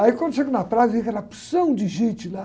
Aí, quando chego na praia, vem aquela porção de gente lá.